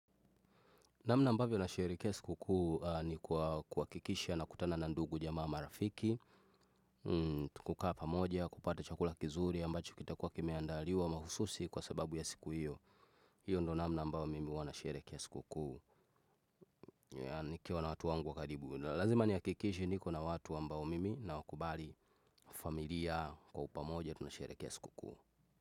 Namna ambavyo nasharekea siku kuu ni kwa kuhakikisha nakutana na ndugu jamaa marafiki, kukaa pamoja, kupata chakula kizuri ambacho kitakuwa kimeandaliwa mahususi kwa sababu ya siku hiyo. Hiyo ndo namna ambayo mimi huwa nasharekea siku kuu. Nikiwa na watu wangu wa karibu. Lazima nihakikishe niko na watu ambao mimi nawakubali familia kwa upamoja tunasherekea siku kuu.